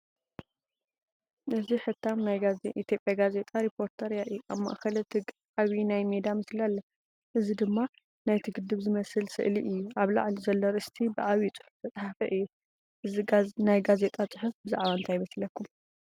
እዚ ሕታም ናይ ኢትዮጵያ ጋዜጣ “ሪፖርተር” የርኢ። ኣብ ማእከል እቲ ገጽ ዓቢ ናይ ሜዳ ምስሊ ኣሎ፡ እዚ ድማ ናይቲ ግድብ ዝመስል ስእሊ እዩ። ኣብ ላዕሊ ዘሎ ኣርእስቲ ብዓቢ ጽሑፍ ዝተጻሕፈ እዩ። እዚ ናይ ጋዜጣ ጽሑፍ ብዛዕባ እንታይ ይመስለኩም?